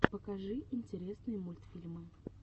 покажи интересные мультфильмы